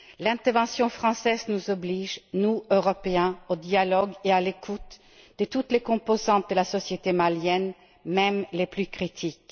L'intervention française nous oblige, nous Européens, à engager le dialogue et à écouter toutes les composantes de la société malienne, même les plus critiques.